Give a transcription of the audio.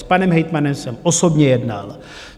S panem hejtmanem jsem osobně jednal.